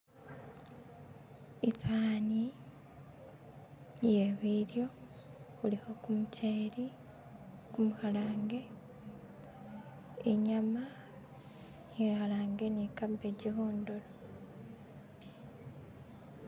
isaani iye bilyo khulikho kumucheli khumukhalange inyama ikhalange ni cabbage khundulo.